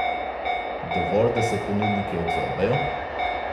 Dovolj, da se ponudniki odzovejo?